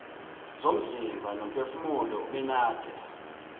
zomzimba nomphefumulo ubenade